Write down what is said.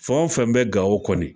Fɛn o fɛn bɛ Gawo kɔni